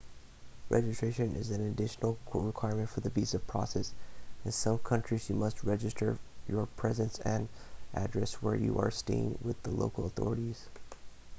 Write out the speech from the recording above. registration is an additional requirement for the visa process in some countries you must register your presence and address where you are staying with the local authorities